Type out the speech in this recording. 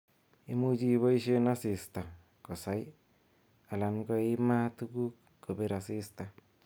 Imuche iboishen asista kosaii alan ko imaa tuguk kobir asista.